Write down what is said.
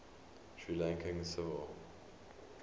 sri lankan civil